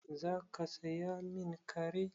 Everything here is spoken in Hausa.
Za ka saya min kare?